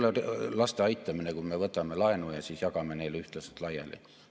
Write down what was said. See ei ole laste aitamine, kui me võtame laenu ja siis jagame neile ühtlaselt laiali.